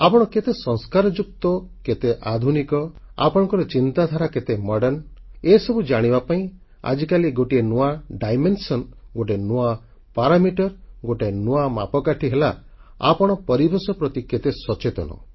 ଆପଣ କେତେ ସଂସ୍କାରଯୁକ୍ତ କେତେ ଆଧୁନିକ ଆପଣଙ୍କ ଚିନ୍ତାଧାରା କେତେ ଆଧୁନିକ ଏସବୁ ଜାଣିବା ପାଇଁ ଆଜିକାଲି ଗୋଟିଏ ନୂଆ ଦିଗ ଗୋଟିଏ ନୂଆ ପରିମାପକ ଗୋଟିଏ ନୂଆ ମାପକାଠି ହେଲା ଆପଣ ପରିବେଶ ପ୍ରତି କେତେ ସଚେତନ